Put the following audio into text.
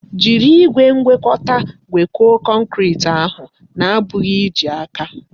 Jiri igwe ngwekọta ngwekọọ kọnkriti ahụ na-abụghị iji aka!